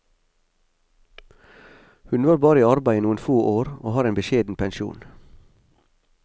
Hun var bare i arbeid i noen får år, og har en beskjeden pensjon.